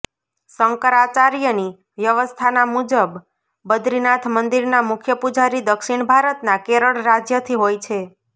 શંકરાચાર્યની વ્યવસ્થાના મુજબ બદ્રીનાથ મંદિરના મુખ્ય પુજારી દક્ષિણ ભારતના કેરળ રાજ્યથી હોય છે